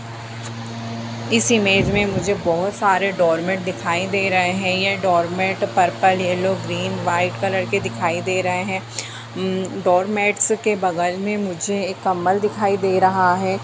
इस इमेज में मुझे बहुत सारे डोर मेट दिखाई दे रहे हैं ये door mat purple yellow green white colour के दिखाई दे रहे है म डोर मेंट्स के बगल में मुझे एक कम्बल दिखाई दे रहा है।